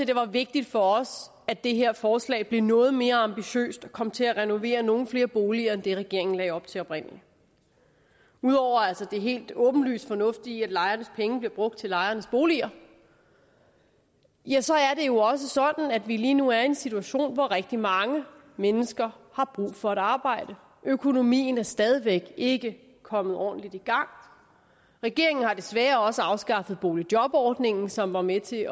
det var vigtigt for os at det her forslag blev noget mere ambitiøst og kom til at renovere nogle flere boliger end det regeringen lagde op til oprindelig udover det helt åbenlyst fornuftige i at lejernes penge bliver brugt til lejernes boliger ja så er det jo også sådan at vi lige nu er i en situation hvor rigtig mange mennesker har brug for et arbejde da økonomien stadig væk ikke er kommet ordentligt i gang regeringen har desværre også afskaffet boligjobordningen som var med til